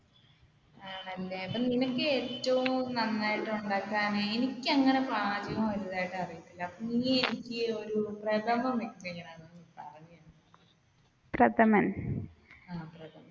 ആണല്ലേ നിനക്ക് ഏറ്റവും നന്നായിട്ട് ഉണ്ടാക്കാൻ എനിക്ക് അങ്ങനെ പാചകം വലുതായിട്ട് അറിയത്തില്ല